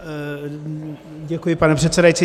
Děkuji pane předsedající.